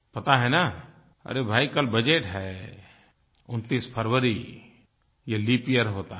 पता है न अरे भई कल बजट है 29 फरवरी ये लीप यियर होता है